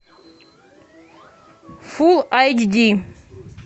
фул айч ди